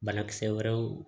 Banakisɛ wɛrɛw